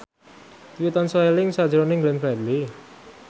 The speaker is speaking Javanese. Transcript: Dwi tansah eling sakjroning Glenn Fredly